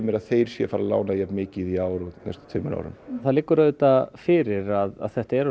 að þeir séu að fara að lána jafn mikið í ár og á næstu tveimur árum það liggur auðvitað fyrir að þetta eru